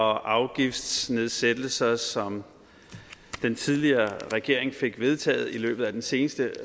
og afgiftsnedsættelser som den tidligere regering fik vedtaget i løbet af den seneste